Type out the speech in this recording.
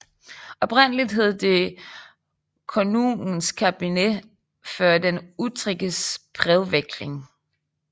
Oprindeligt hed det Konungens kabinett för den utrikes brevväxlingen